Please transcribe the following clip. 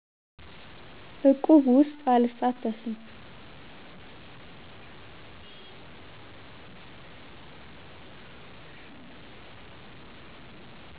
እቁብ ውስጥ አልሳተፍም